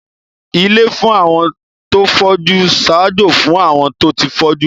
Ilé fún àwọn tó fọ́jú ń ṣaájó fún àwọn tó ti fọ́jú